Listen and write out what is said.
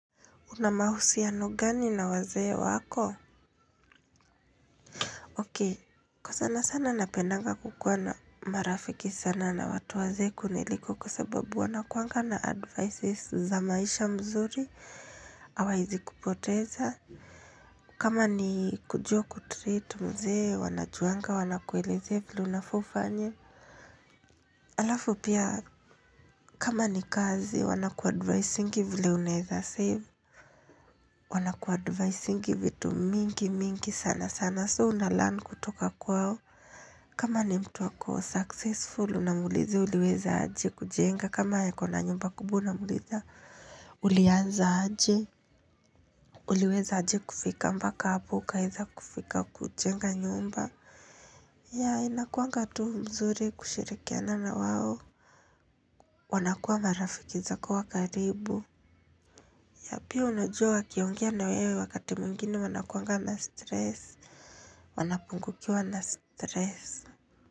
Una mahusiano gani na wazee wako? Ok, kwa sana sana napendanga kukuwa na marafiki sana na watu wazee kuniliko kwa sababu wanakuangana advices za maisha mzuri hawaezi kupoteza. Kama ni kujua kutreat mzee, wanajuanga, wanakuelezea vile unafaa ufanye. Halafu pia kama ni kazi wanakuadvisingi vile unaweza save. Wanakuadvisingi vitu mimgi mingi sana sana so unalearn kutoka kwao. Kama ni mtu ako succesful unamuuliza uliweza aje kujenga, kama ako na nyumba kubwa unamuuliza, ulianza aje? Uliweza aje kufika mpaka hapo ukaweza kufika kujenga nyumba. Ya inakuanga tu mzuri kushirikiana na wao. Wanakuwa marafiki za kuwa karibu, Ya, pia unajua wakiongea na wewe wakati mwingine wanakuanga na stress. Wanapungukiwa na stress.